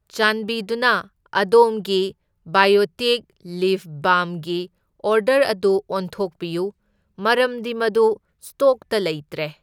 ꯆꯥꯟꯕꯤꯗꯨꯅ ꯑꯗꯣꯝꯒꯤ biotic lip ꯕꯥꯜꯝꯒꯤ ꯑꯣꯔꯗꯔ ꯑꯗꯨ ꯑꯣꯟꯊꯣꯛꯄꯤꯌꯨ, ꯃꯔꯝꯗꯤ ꯃꯗꯨ ꯁ꯭ꯇꯣꯛꯇ ꯂꯩꯇ꯭ꯔꯦ꯫